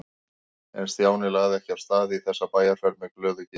En Stjáni lagði ekki af stað í þessa bæjarferð með glöðu geði.